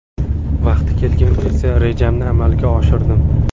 Vaqti kelganda esa rejamni amalga oshirdim.